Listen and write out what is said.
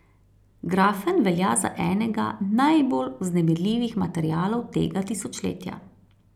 Grafen velja za enega najbolj vznemirljivih materialov tega tisočletja.